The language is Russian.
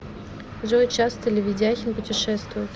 джой часто ли ведяхин путешествует